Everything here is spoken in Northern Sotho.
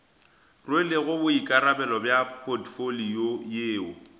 rwelego boikarabelo bja potfolio yeo